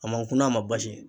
A ma kunan a ma basi